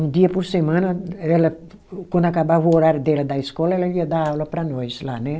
Um dia por semana, ela quando acabava o horário dela da escola, ela ia dar aula para nós lá, né?